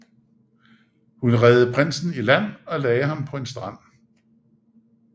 Hun reddede prinsen i land og lagde ham på en strand